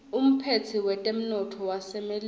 umphetsi wetemnotto wasemelika